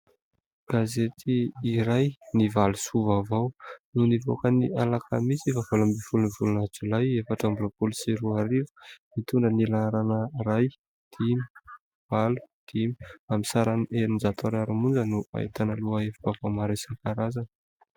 Gazety iray ny Valo Soa vaovao, no nivoaka ny Alakamisy faha valo ambin'ny folo ny volana jolay efatra amby roapolo sy roa arivo, mitondra ny laharana: iray, dimy, valo, dimy; amin'ny sarany enin-jato ariary monja no ahitana loha hevi-baovao maro isan- karazany.